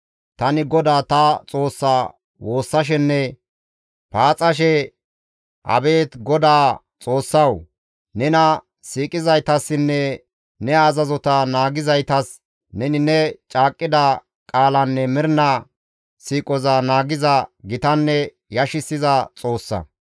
Tani GODAA ta Xoossaa woossashenne paaxashe, «Abeet GODAA Xoossawu, nena siiqizaytassinne ne azazota naagizaytas neni ne caaqqida qaalanne mernaa siiqoza naagiza gitanne yashissiza Xoossa.